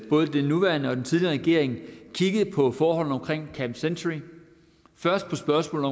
både den nuværende og den tidligere regering kigget på forholdene omkring camp century først på spørgsmål